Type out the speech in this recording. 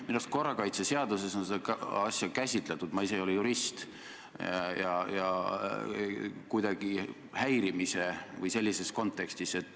Minu arust on korrakaitseseaduses seda asja käsitletud – ma ise ei ole jurist – kuidagi häirimise või sellises kontekstis.